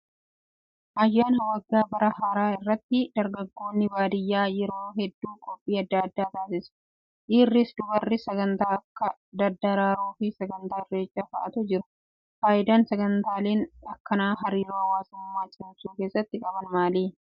Ayyaana waggaa bara haaraa irratti dargaggoon baadiyyaa yeroo hedduu qophii adda addaa taasisu. Dhiirris dubarris sagantaa Akka daddaraaroo fi sagantaa irreechaa fa'aatu jiru. Fayidaan sagantaaleen akkanaa hariiroo hawaasummaa cimsuu keessatti qaban maali?